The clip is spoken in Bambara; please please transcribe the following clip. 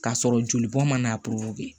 K'a sɔrɔ jolibɔ man'